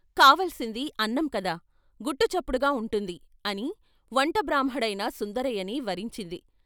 కావలసింది అన్నం కదా, గుట్టు చప్పుడుగా ఉంటుంది ' అని వంట బ్రాహ్మడైన సుందరయ్యని వరించింది.